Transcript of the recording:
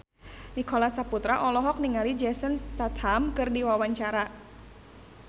Nicholas Saputra olohok ningali Jason Statham keur diwawancara